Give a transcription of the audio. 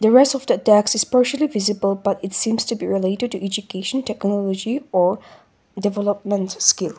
rest of the text is partially visible but it seems to be related to education technology or development skill.